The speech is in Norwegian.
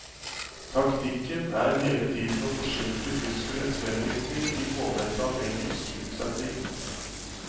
Taktikken er hele tiden å forsinke tyskernes fremrykning i påvente av engelsk unnsetning.